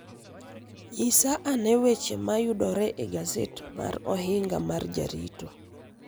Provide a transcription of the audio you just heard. Nyisa ane weche ma yudore e gaset mar Ohinga mar Jarito.